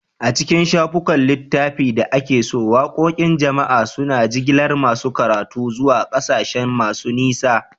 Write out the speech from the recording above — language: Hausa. A cikin shafukan littafi da ake so, waqoqin jama'a suna jigilar masu karatu zuwa ƙasashe masu nisa.